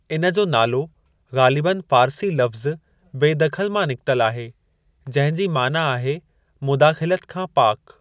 इन जो नालो ग़ालिबन फ़ारसी लफ़्ज़ु बेदख़ल मां निकितल आहे, जंहिं जी माना आहे मुदाख़िलत खां पाकु।